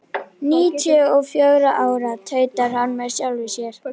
Níutíu og fjögra ára, tautar hann með sjálfum sér.